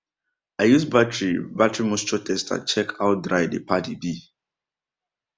i use battery battery moisture tester check how dry dey paddy be